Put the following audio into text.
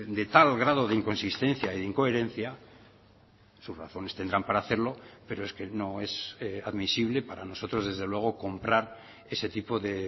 de tal grado de inconsistencia e incoherencia sus razones tendrán para hacerlo pero es que no es admisible para nosotros desde luego comprar ese tipo de